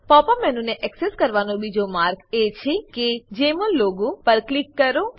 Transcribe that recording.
pop up મેનુને access કરવાનો બીજો માર્ગ એ છે કે જમોલ લોગો પર ક્લિક કરો